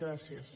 gràcies